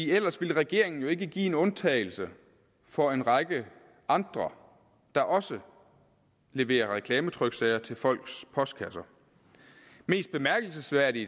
ellers ville regeringen jo ikke give en undtagelse for en række andre der også leverer reklametryksager til folks postkasser mest bemærkelsesværdigt